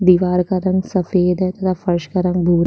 दिवार का रंग सफ़ेद है तथा फर्श का रंग भूरा --